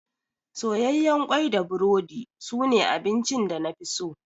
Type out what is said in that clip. Soyayyen kwai da burodi su ne abincin da nafi so